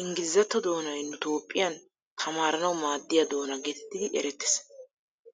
inggilzzatto doonay nu toophphiyan tamaaranawu maadiya doona geetettidi erettees.